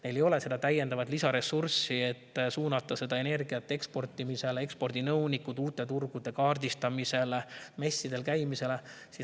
Neil ei ole täiendavat lisaressurssi, et suunata energiat eksportimisele, ekspordinõunikele, uute turgude kaardistamisele ja messidel käimisele.